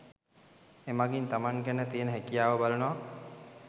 එමගින් තමන්ගේ ගැන තියන හැකියාව බලනවා